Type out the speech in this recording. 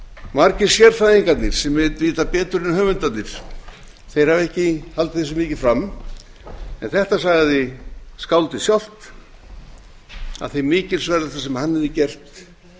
margir sérfræðingarnir sem vita betur en höfundarnir hafa ekki haldið þessu mikið fram en þetta sagði skáldið sjálft að mikilsverðasta sem hann